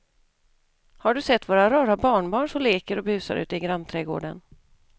Har du sett våra rara barnbarn som leker och busar ute i grannträdgården!